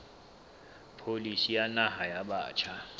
pholisi ya naha ya batjha